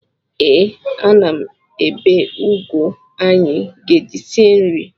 Ee, ana m ebe ụgụ anyị ga-eji sie nri.